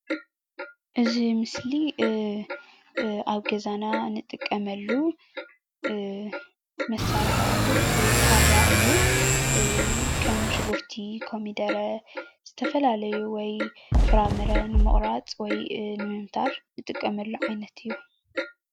እዚ ምስሊ ኣብ ገዛና እንጥቀመሉ መሳርሒ ኣቁሑት ካራ እዩ። ከም ሽጉርቲ፣ ኮሚደረ፣ ዝተፈላለዩ ፍራሞረ ንምቁራፅ ወይ ንምምታር እንጥቀመሉ ዓይነት እዩ።